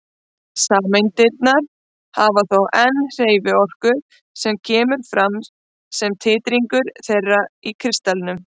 Sameindirnar hafa þó enn hreyfiorku sem kemur fram sem titringur þeirra í kristallinum.